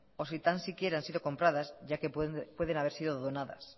o sin tan siquiera han sido compradas ya que pueden haber sido donadas